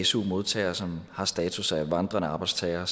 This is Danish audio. su modtagere som har status af vandrende arbejdstagere